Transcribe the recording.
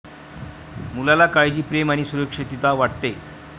मुलाला काळजी, प्रेम आणि सुरक्षितता वाटते.